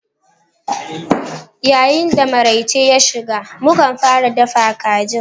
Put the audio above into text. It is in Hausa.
Yayin da maraice ya shiga, mu kan fara dafa kajin.